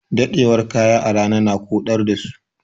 Ɗadewar kaya a rana na koɗar da su.